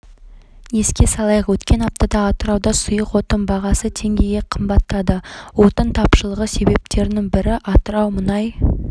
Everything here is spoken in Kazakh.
еске салайық өткен аптада атырауда сұйық отын бағасы теңгеге қымбаттады отын тапшылығы себептерінің бірі атырау мұнай